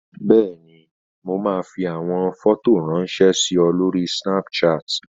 Bẹ́ẹ̀ni, mo máa fi àwọn fọ́tò ráńṣẹ́ sí ọ lórí Snapchat.